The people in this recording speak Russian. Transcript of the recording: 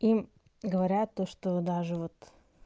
им говорят то что даже вот